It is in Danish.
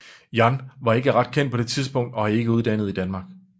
Yan var ikke ret kendt på det tidspunkt og ikke uddannet i Danmark